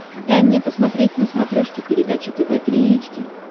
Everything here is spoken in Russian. дай мне посмотреть на смотрешке передачу тв три эйч ди